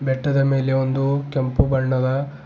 ಬೆಟ್ಟದ ಮೇಲೆ ಒಂದು ಕೆಂಪು ಬಣ್ಣದ--